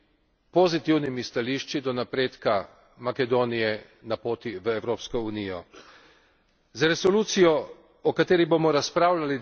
zelo razveseljivimi stališči, pozitivimi stališči do napredka Makedonije na poti v Evropsko unijo.